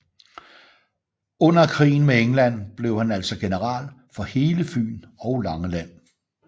Under krigen med England blev han altså general for hele Fyn og Langeland